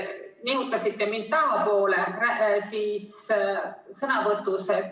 Nihutasite mind tahapoole sõnavõtus.